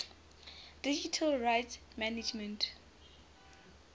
digital rights management